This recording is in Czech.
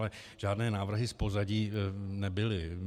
Ale žádné návrhy z pozadí nebyly.